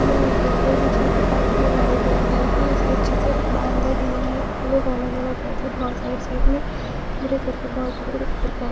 border बिछा के pipe लगाया जायगा हैं उसके अच्छे से बांधा गया है और लोग आना जाना कर रहे बहोत सारी साइड में --